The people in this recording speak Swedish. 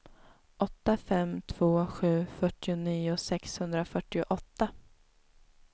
åtta fem två sju fyrtionio sexhundrafyrtioåtta